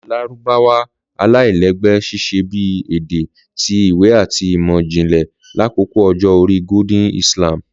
Lárúbáwá Alailẹgbẹ ṣiṣẹ bi ede ti iwe ati imọ-jinlẹ lakoko Ọjọ-ori Golden Islam.